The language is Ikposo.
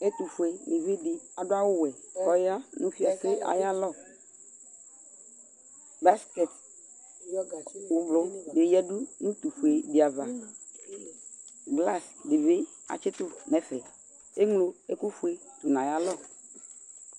Ɛtʋfuenɩvi dɩ adʋ awʋwɛ, kʋ ɔya nʋ fiase ayʋ alɔ Baskɛtɩ ʋblʋ dɩ yǝdʋ nʋ utufue dɩ ava Glasɩ dɩ bɩ atsɩtʋ nʋ ɛfɛ Eŋlo ɛkʋfuetʋ nʋ ayʋ alɔ